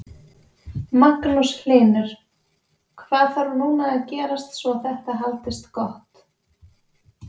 Magnús Hlynur: Hvað þarf núna að gerast svo þetta haldist gott?